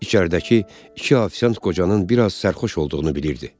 İçəridəki iki ofisiant qocanın bir az sərxoş olduğunu bilirdi.